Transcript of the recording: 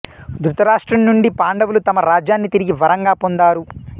ధృతరాష్ట్రుని నుండి పాండవులు తమ రాజ్యాన్ని తిరిగి వరంగా పొందారు